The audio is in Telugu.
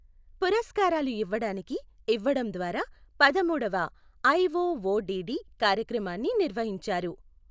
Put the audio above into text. పురస్కారాలు ఇవ్వడానికి ఇవ్వడం ద్వారా పదమూడవ ఐ ఒఓడిడి కార్యక్రమాన్ని నిర్వహించారు.